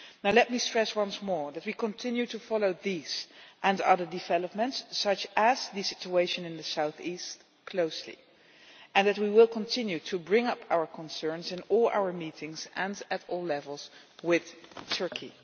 Let me stress once more that we continue to follow these and other developments such as the situation in the south east closely, and that we will continue to bring up our concerns in all our meetings and at all levels with Turkey.